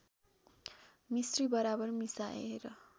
मिस्री बराबर मिसाएर